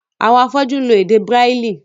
Àwọn afọ́jú ń lo èdè bráìlì.